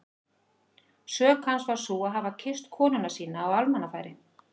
Sök hans var sú að hafa kysst konuna sína á almannafæri!